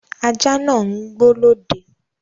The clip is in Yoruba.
Ajá náà ń gbó lọ́dẹ